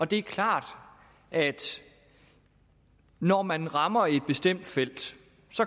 det er klart at når man rammer et bestemt felt